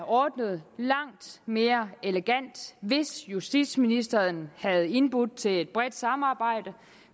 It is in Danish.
ordnet langt mere elegant hvis justitsministeren havde indbudt til et bredt samarbejde